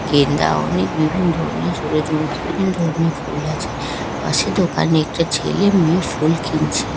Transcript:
গেন্দা অনকে বিভিন্ন ধরণের বিভিন্ন ধরণের ফুল আছে। পাশে দোকানে একটি ছেলে মেয়ে ফুল কিনছেন।